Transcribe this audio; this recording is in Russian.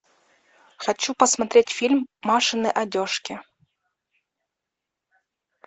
хочу посмотреть фильм машины одежки